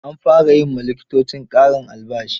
An fara yi wa likitoci ƙarin albashi.